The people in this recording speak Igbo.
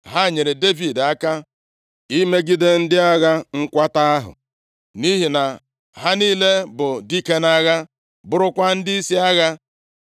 Ha nyeere Devid aka imegide ndị agha nkwata ahụ, nʼihi na ha niile bụ dike nʼagha, bụrụkwa ndịisi agha.